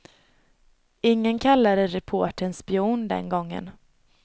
Ingen kallade reportern spion den gången.